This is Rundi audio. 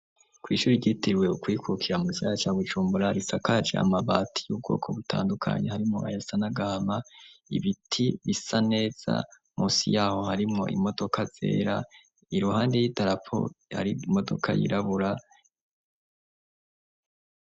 kw' ishuri ryitewe ukwikukira mugisagara ca bujumbura risakaje amabati y'ubwoko butandukanye harimo aya sanagahama ibiti bisa neza munsi yaho harimo imodoka zera iruhande y'idarapo yari imodoka yirabura